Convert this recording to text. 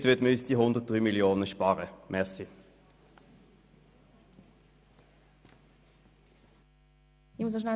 Damit würden wir uns 103 Mio. Franken Einnahmenverlust ersparen.